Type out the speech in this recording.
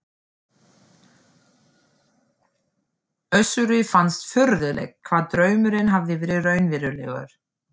Össuri fannst furðulegt hvað draumurinn hafði verið raunverulegur.